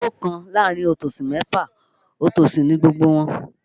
Olówò kan láàrin otòsì mẹ́fa, otòsì ni gbogbo wọn